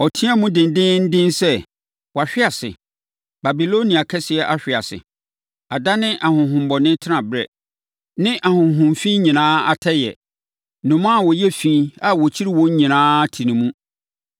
Ɔteaam dendeenden sɛ, “ ‘Wahwe ase! Babilonia kɛseɛ ahwe ase!’ Adane ahonhommɔne tenaberɛ ne ahonhom efi nyinaa atɛeɛ. Nnomaa a wɔyɛ efi a wɔkyiri wɔn nyinaa te ne mu.